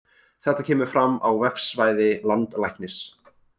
Þetta kemur fram á vefsvæði Landlæknis